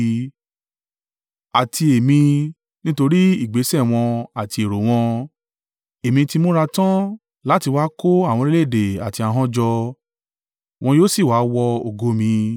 “Àti Èmi, nítorí ìgbésẹ̀ wọn àti èrò wọn, èmi ti múra tán láti wá kó àwọn orílẹ̀-èdè àti ahọ́n jọ, wọn yóò sì wá wo ògo mi.